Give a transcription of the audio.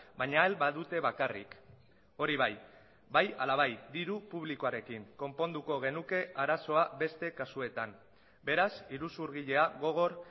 baina ahal badute bakarrik hori bai bai ala bai diru publikoarekin konponduko genuke arazoa beste kasuetan beraz iruzurgilea gogor